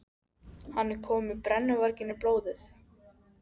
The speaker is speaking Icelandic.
Hann er kominn með brennuvarginn í blóðið!